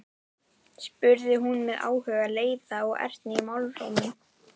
spurði hún með áhuga, leiða og ertni í málrómnum.